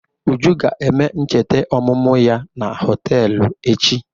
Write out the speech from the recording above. Uju ga-eme ncheta ọmụmụ ya na họtelụ echi.